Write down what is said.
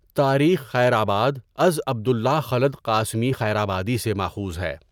تاریخ خیرآباد از عبد اللہ خٓلد قاسمی خیرآبادی سے ماخوذ ہے.